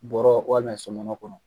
Bɔrɔ ko ana sɔmɔnɔ kɔnɔ